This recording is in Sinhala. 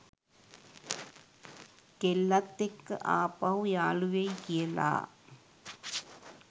කෙල්ලත් එක්ක ආපහු යාළුවෙයි කියලා